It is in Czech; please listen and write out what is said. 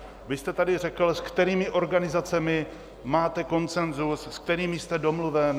Vy jste tady řekl, s kterými organizacemi máte konsenzus, s kterými jste domluven.